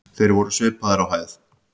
Þeir voru svipaðir á hæð.